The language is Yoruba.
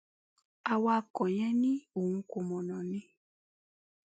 awakọ yẹn ni òun kọ mọnà ni